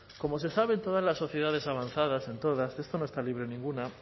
como se sabe en todas las sociedades avanzadas en todas de esto no está libre ninguna